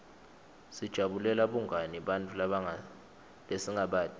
sijabulela bungani nebantfu lesingabati